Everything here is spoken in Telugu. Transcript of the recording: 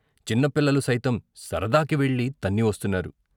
చిన్న పిల్లలు సైతం సరదాకి వెళ్ళి తన్ని వస్తు న్నారు.